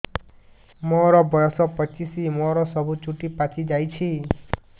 ମୋର ବୟସ ପଚିଶି ମୋର ସବୁ ଚୁଟି ପାଚି ଯାଇଛି